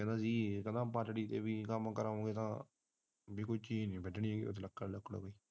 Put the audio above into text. ਕਹਿੰਦਾ ਕੋਈ ਚੀਜ ਨੀ ਵੱਢਣੀ ਲੱਕੜ ਲੁਕੜ ਦੀ